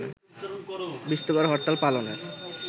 বৃহস্পতিবার হরতাল পালনের